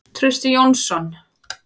Trausti Jónsson.